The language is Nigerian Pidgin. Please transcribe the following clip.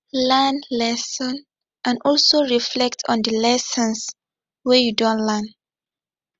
learn lesson and also reflect on di lessons wey you don learn